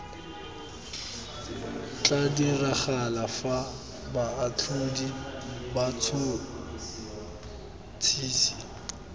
tla diragala fa baatlhodi batšhotšhisi